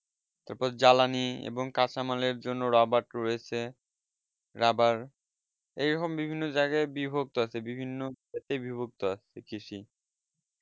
তারপর জ্বালানিএবং কাঁচা মালএর জন্য robart রয়েছে আবার robort এই রকম বিভিন্ন জায়গায় বিভক্ত আছে বিভিন্ন এতে বিভক্ত আছে কৃষি